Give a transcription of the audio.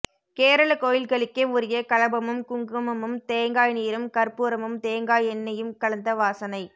கேரளக்கோயில்களுக்கே உரிய களபமும் குங்குமமும் தேங்காய்நீரும் கர்ப்பூரமும் தேங்காயெண்ணையும் கலந்த வாசனை